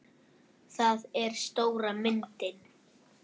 Það er stóra myndin.